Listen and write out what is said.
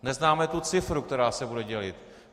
Neznáme tu cifru, která se bude dělit.